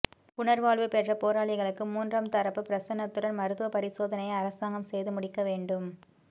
புனர்வாழ்வு பெற்ற போராளிகளுக்கு மூன்றாம் தரப்பு பிரசன்னத்துடன் மருத்துவ பரிசோதனையை அரசாங்கம் செய்து முடிக்க வேண்டும்